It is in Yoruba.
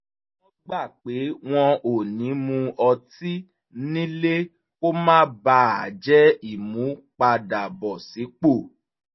wọ́n gbà pé wọn ò ní mu ọtí nílé kó má bà a jẹ́ ìmúpadàbọ̀sípò